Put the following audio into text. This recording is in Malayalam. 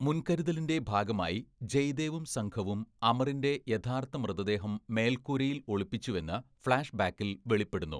മുൻകരുതലിന്റെ ഭാഗമായി ജയ്ദേവും സംഘവും അമറിന്റെ യഥാർത്ഥ മൃതദേഹം മേൽക്കൂരയിൽ ഒളിപ്പിച്ചുവെന്ന് ഫ്ലാഷ്ബാക്കിൽ വെളിപ്പെടുന്നു.